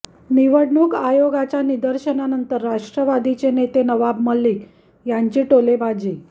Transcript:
निवडणूक आयोगाच्या निर्देशांनंतर राष्ट्रवादीचे नेते नवाब मलिक यांची टोलेबाजी